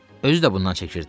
Özü də bundan çəkirdi.